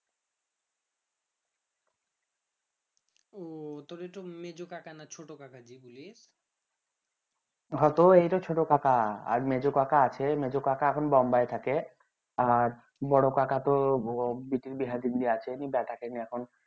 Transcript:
অ তোর এইটো মেঝো কাকা না ছোট কাকা যে বুলি হ এইতো ছোট কাকা আর মেঝো আছে মেঝো কাকা এখন বোম্বাই থাকে আর বড়ো কাকা তো